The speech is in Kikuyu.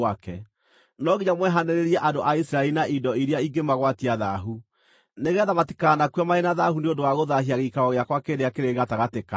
“ ‘No nginya mwehanĩrĩrie andũ a Isiraeli na indo iria ingĩmagwatia thaahu, nĩgeetha matikanakue marĩ na thaahu nĩ ũndũ wa gũthaahia gĩikaro gĩakwa kĩrĩa kĩrĩ gatagatĩ kao.’ ”